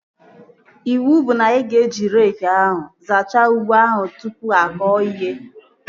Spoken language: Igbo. Iwu bụ na ị ga-eji reekị zachaa ugbo ahụ tụpụ akọ ya ihe!